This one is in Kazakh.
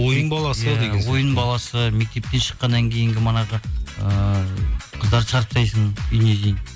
ойын баласы ойын баласы мектептен шыққаннан кейінгі манағы ыыы қыздарды шығарып тастайсың үйіне дейін